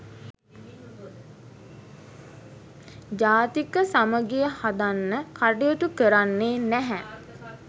ජාතික සමගිය හදන්න කටයුතු කරන්නේ නැහැ.